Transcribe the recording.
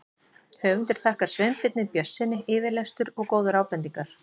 Höfundur þakkar Sveinbirni Björnssyni yfirlestur og góðar ábendingar.